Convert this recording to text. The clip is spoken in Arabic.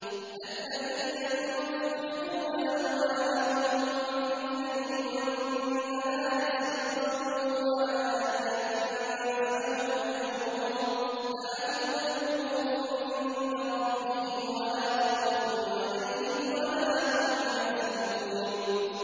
الَّذِينَ يُنفِقُونَ أَمْوَالَهُم بِاللَّيْلِ وَالنَّهَارِ سِرًّا وَعَلَانِيَةً فَلَهُمْ أَجْرُهُمْ عِندَ رَبِّهِمْ وَلَا خَوْفٌ عَلَيْهِمْ وَلَا هُمْ يَحْزَنُونَ